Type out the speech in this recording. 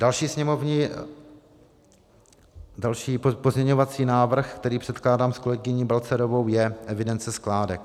Další pozměňovací návrh, který předkládám s kolegyní Balcarovou, je evidence skládek.